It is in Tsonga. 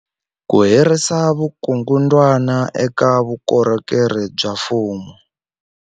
Ku herisa vukungundwani eka vukorhokeri bya mfumo.